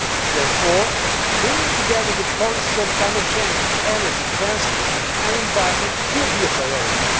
Therefore, bringing together the policies on climate change, energy, transport and environment will be a priority.